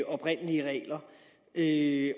oprindelige regler det